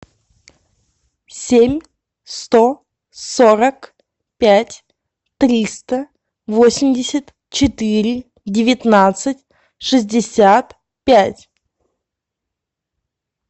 семь сто сорок пять триста восемьдесят четыре девятнадцать шестьдесят пять